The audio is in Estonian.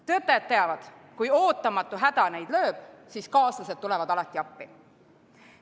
Töötajad teavad, et kui ootamatu häda neid tabab, siis kaaslased tulevad alati appi.